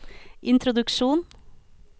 introduksjon